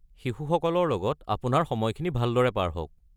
শিশুসকলৰ লগত আপোনাৰ সময়খিনি ভালদৰে পাৰ হওক।